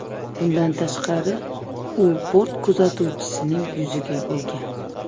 Bundan tashqari, u bort kuzatuvchisining yuziga urgan.